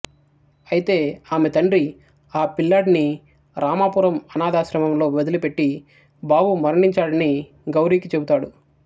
అయితే ఆమె తండ్రి ఆ పిల్లాడిని రామాపురం అనాధాశ్రమంలో వదిలిపెట్టి బాబు మరణించాడని గౌరికి చెబుతాడు